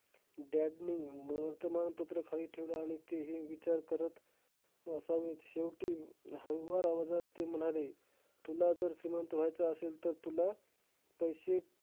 Dad ने वर्तमान पत्र खाली ठेवलं आणि तेही विचार करत असावेत? शेवटी हळुवार आवाजात ते म्हणाले, तुला जर श्रीमंत व्हायचं असेल, तर तुला पैशे